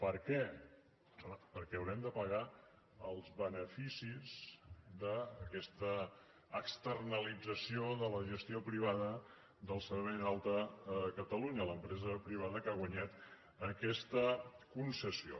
per què doncs home perquè haurem de pagar els beneficis d’aquesta externalització de la gestió privada del servei d’alta a catalunya a l’empresa privada que ha guanyat aquesta concessió